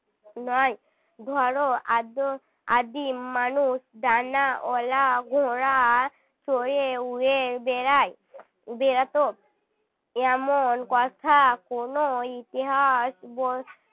নয় ধরো আর্য আদিম মানুষ ডানাওলা ঘোড়া চড়ে উড়ে বেড়ায় বেড়াত এমন কথা কোনও ইতিহাস বই